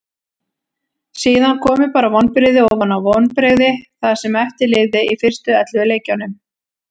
Síðan komu bara vonbrigði ofan á vonbrigði það sem eftir lifði í fyrstu ellefu leikjunum.